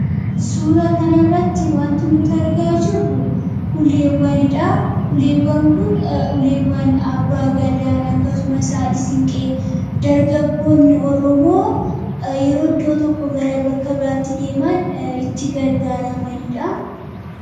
suuraa kanaarratti wanti nuti argaa jirru uleewwan kun uleewwan abbaa gaadaa akkasuma isaan siinqee dargaggoonni oromoo yeroo iddoo tokkoo gara bakka biraatti deeman itti gargaaramaniidha.